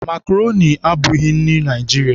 Makroni abụghị nri Naịjirịa.